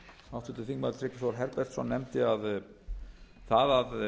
háttvirtur þingmaður tryggvi þór herbertsson nefndi að það að